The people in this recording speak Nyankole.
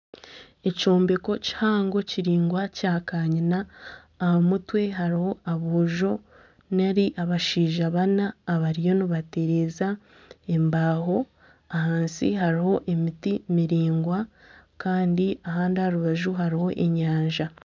Ekyombeko kihango kiringwa kya kanyina aha mutwe hariho aboojo nari abashaija bana abariyo nibatereza embaaho ahansi hariho emiti miringwa kandi ahandi aha rubaju hariho enyanja.